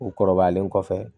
U kɔrɔbayalen kɔfɛ